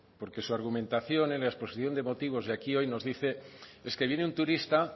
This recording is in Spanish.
porque su argumentación en la exposición de motivos y aquí hoy nos dice es que viene un turista